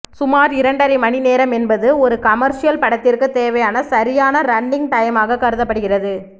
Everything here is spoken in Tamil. சுமார் இரண்டரை மணி நேரம் என்பது ஒரு கமர்ஷியல் படத்திற்கு தேவையான சரியான ரன்னிங் டைமாக கருதப்படுகிறது